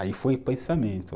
Aí foi pensamento.